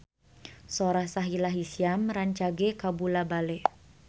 Sora Sahila Hisyam rancage kabula-bale